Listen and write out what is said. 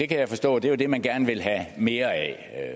kan forstå at det er det man gerne vil have mere af